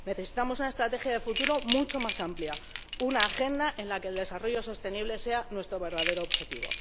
Necesitamos una estrategia de futuro mucho más amplia, una agenda en la que el desarrollo sostenible sea nuestro verdadero objetivo.